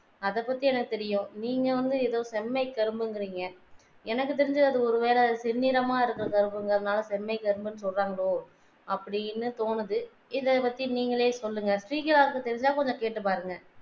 அத பத்தி எனக்கு தெரியும் நீங்க வந்து எதோ செம்மை கரும்பு என்கிறீங்க எனக்கு தெரிஞ்சு ஒரு வேல அது செம்மீறநிறமாக இருக்கிற கரும்புனால தால செம்மை கரும்பு என்று சொல்றாங்களோ அப்பிடின்னு தோணுது இத பத்தி நீங்களே சொல்லுங்க ஸ்ரீகலா தெரிஞ்சா கொஞ்சம் கேட்டு பாருங்க